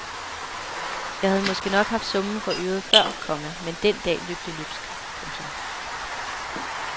Jeg havde måske nok haft summen for øret før, komma men den dag løb det løbsk. punktum